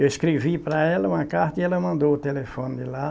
Eu escrevi para ela uma carta e ela mandou o telefone de lá.